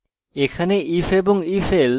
এখানে